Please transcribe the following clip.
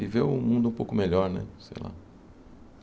E ver o mundo um pouco melhor, né? Sei lá